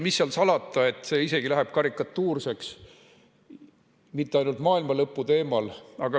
Mis seal salata, see kõik läheb isegi karikatuurseks ja mitte ainult maailmalõpu teemal.